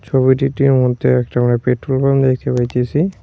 ছবিটিটির মধ্যে একটা আমরা পেট্রোল পাম্প দেখতে পাইতেসি।